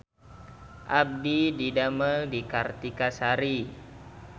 Abdi didamel di Kartika Sari